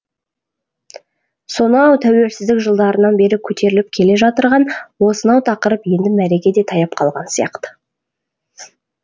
сонау тәуелсіздік жылдарынан бері көтеріліп келе жатырған осынау тақырып енді мәреге де таяп қалған сияқты